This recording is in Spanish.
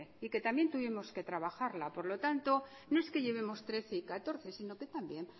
y que también tuvimos que trabajarla por lo tanto no es que llevemos trece y catorce sino que también